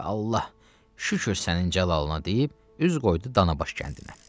Və Allah, şükür sənin cəlalına deyib, üz qoydu Danabaş kəndinə.